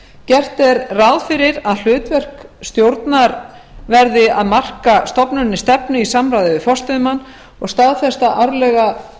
gert er ráð fyrir að hlutverk stjórnar verði að marka stofnuninni stefnu í samráði við forstöðumann og staðfesta árlega